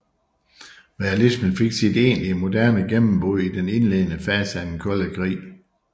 Realismen fik sit egentlige moderne gennembrud i den indledende fase af den kolde krig